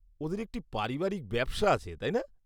ওঁদের একটি পারিবারিক ব্যবসা আছে, তাই না?